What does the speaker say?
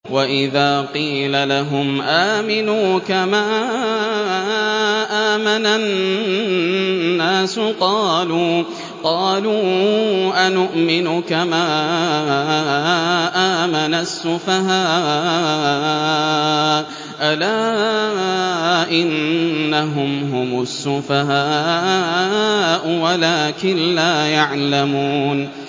وَإِذَا قِيلَ لَهُمْ آمِنُوا كَمَا آمَنَ النَّاسُ قَالُوا أَنُؤْمِنُ كَمَا آمَنَ السُّفَهَاءُ ۗ أَلَا إِنَّهُمْ هُمُ السُّفَهَاءُ وَلَٰكِن لَّا يَعْلَمُونَ